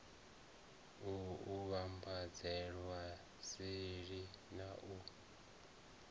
u vhambadzelwa seli na u